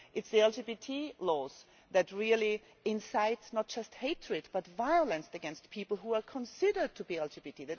it is the LGBT laws that incite not just hatred but violence against people who are considered to be LGBT.